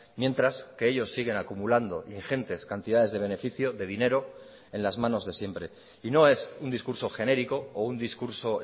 mientras que ellos siguen acumulando ingentes cantidades de beneficio de dinero en las manos de siempre y no es un discurso genérico o un discurso